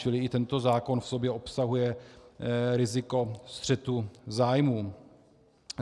Čili i tento zákon v sobě obsahuje riziko střetu zájmů.